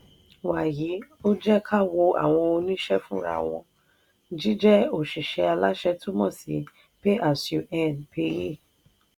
wàyí o ẹ jẹ́ ká wo àwọn òṣìṣẹ́ fúnra wọn; jíjẹ́ òṣìṣẹ́ aláṣẹ túmọ̀ sí pay as you earn (paye).